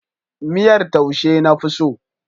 Miyar taushe na fi so.